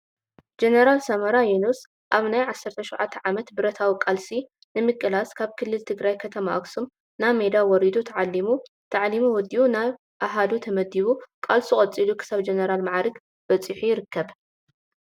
ጀነራል ሳሞራ የኑስ ኣብ ናይ 17ተ ዓመት ብረታዊ ቃልሲ ንምቅላስ ካብ ክልል ትግራይ ከተማ ኣክሱም ናብ ሜዳ ወሪዱ ተዓሊሙ ታዕሊሙ ወዱኡ ናብ ኣሃዱ ተመዲቡ ቃልሱ ቀፂሉ ክሳብ ጀነራል ማዓርግ በፂሑ ይርከብ::